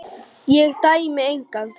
Ég dæmi engan.